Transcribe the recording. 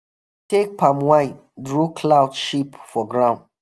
take palm wine draw cloud shape for ground.